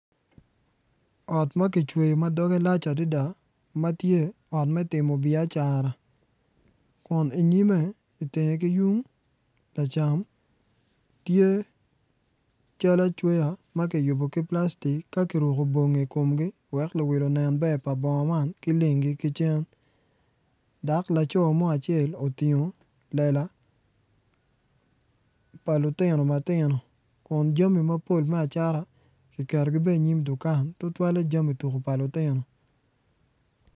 Ot ma kicweyo ma doge lac adada matye ot me timo biacara kun inyime itenge ki yung lacam tye cal acweya ma kiyubo ki plastik ka kiruko bongi ikomgi wek luwil onen ber pa bongo man ki lengi ki cen dok laco mo acel otingo lela pa lutino matino kun jami mapol ki ketogi bene inyim dukan tutwale jami tuku pa lutino